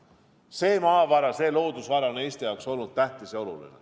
See maavara, see loodusvara on Eesti jaoks olnud tähtis ja oluline.